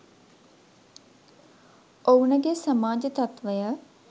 ඔවුනගේ සමාජ තත්ත්වය